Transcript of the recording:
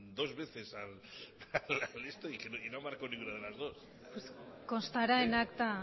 dos veces a esto y no ha marcado ninguna de las dos constará en acta